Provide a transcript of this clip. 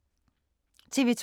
TV 2